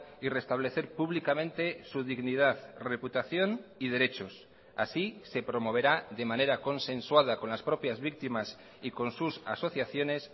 y restablecer públicamente su dignidad reputación y derechos así se promoverá de manera consensuada con las propias víctimas y con sus asociaciones